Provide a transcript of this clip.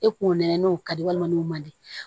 E kungo nɛgɛn n'o ka di walima n'o man di